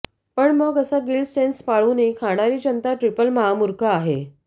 पण मग असा गिल्ट सेन्स पाळूनही खाणारी जन्ता ट्रिपल महामूर्ख आहे